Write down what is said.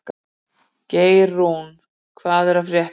Geirrún, hvað er að frétta?